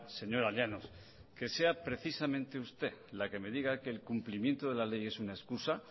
señora llanos que sea precisamente usted la que me diga que el cumplimiento de la ley es una escusa